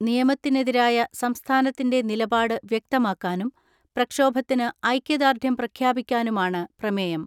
നിയമത്തിനെതിരായ സംസ്ഥാനത്തിന്റെ നിലപാട് വ്യക്തമാക്കാനും പ്രക്ഷോഭത്തിന് ഐക്യദാർഢ്യം പ്രഖ്യാപിക്കാനുമാണ് പ്രമേയം.